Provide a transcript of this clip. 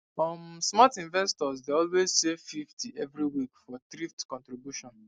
um smart investor dey always save 50 every week for thrift contribution